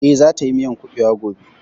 Eh, za ta yi miyan kuɓewa gobe